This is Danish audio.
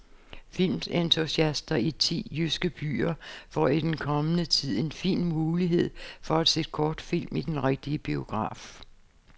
Filmentusiaster i ti jyske byer får i den kommende tid en fin mulighed for at se kortfilm i den rigtige biograf.